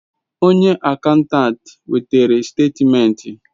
Onye akantant wetere statimenti